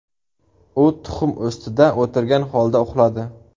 U tuxum ustida o‘tirgan holda uxladi.